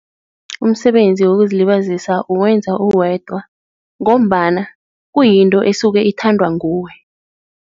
Umsebenzi wokuzilibazisa uwenza uwedwa ngombana kuyinto esuke ithandwa nguwe.